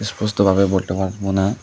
সুস্থভাবে বলটে পারবো না।